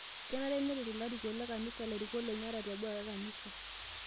Kenare nerret larikok le kanisa lairukok lenye ata teboo e kanisa